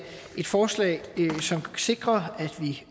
et forslag som sikrer at vi